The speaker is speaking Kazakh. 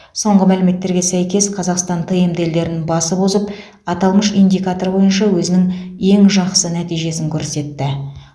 соңғы мәліметтерге сәйкес қазақстан тмд елдерін басып озып аталмыш индикатор бойынша өзінің ең жақсы нәтижесін көрсетті